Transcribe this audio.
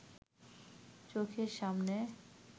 চোখের সামনে